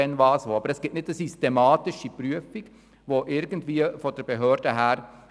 Aber es gibt keine systematische Prüfung durch die Behörden.